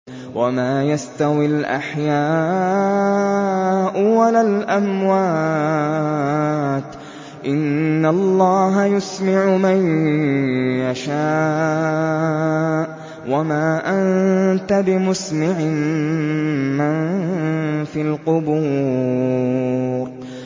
وَمَا يَسْتَوِي الْأَحْيَاءُ وَلَا الْأَمْوَاتُ ۚ إِنَّ اللَّهَ يُسْمِعُ مَن يَشَاءُ ۖ وَمَا أَنتَ بِمُسْمِعٍ مَّن فِي الْقُبُورِ